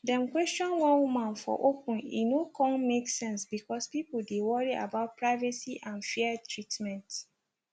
dem question one woman for open e no kon make sense bcoz people dey worry about privacy and fair treatment